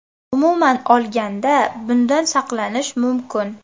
Umuman olganda, bundan saqlanish mumkin.